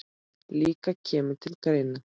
líka kemur til greina.